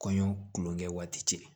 Kɔɲɔ kulonkɛ waati cɛ